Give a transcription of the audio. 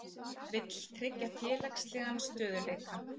Vill tryggja félagslegan stöðugleika